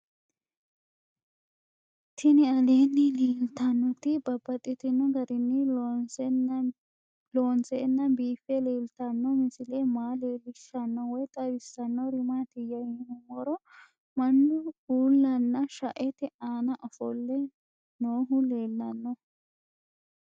Tinni aleenni leelittannotti babaxxittinno garinni loonseenna biiffe leelittanno misile maa leelishshanno woy xawisannori maattiya yinummoro mannu uullanna shaette aanna offolle noohu leelanno